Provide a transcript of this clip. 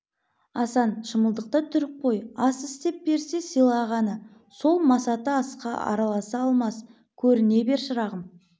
асан шымылдықты түріп қой ас істеп берсе сыйлағаны сол масаты асқа араласа алмас көріне бер шырағым